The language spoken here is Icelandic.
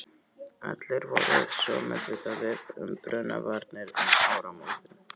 Allir voru svo meðvitaðir um brunavarnir um áramótin.